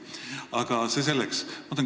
Aga see selleks.